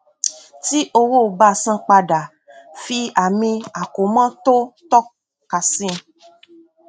tí owó ba san padà fi àmì àkómọ tó tọka sí i